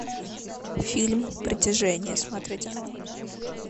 фильм притяжение смотреть онлайн